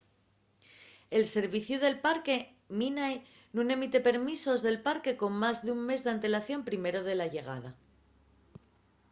el serviciu del parque minae nun emite permisos del parque con más d’un mes d’antelación primero de la llegada